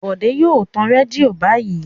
Bòdé yóò tan rédíò báyìí.